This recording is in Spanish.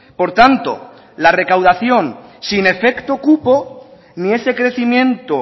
por tanto la recaudación sin efecto cupo ni ese crecimiento